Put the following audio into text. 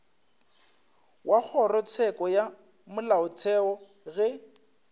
wa kgorotsheko ya molaotheo ge